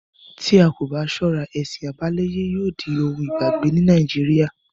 Tí a kò bá ṣọ́ra, ẹ̀sìn àbáláyé yóò di ohun ìgbàgbé ní nàìjíría.